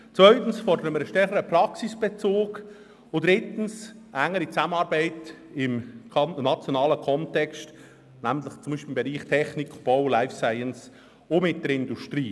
Zweitens fordern wir einen stärkeren Praxisbezug, und drittens eine engere Zusammenarbeit auf nationaler Ebene, zum Beispiel im Bereich Technik, Bau und Life Science, im engen Austausch mit der Industrie.